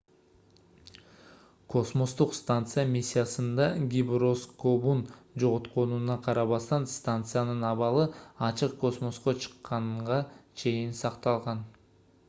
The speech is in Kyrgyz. космостук станция миссиясында гироскобун жоготконуна карабастан станциянын абалы ачык космоско чыкканга чейин cакталган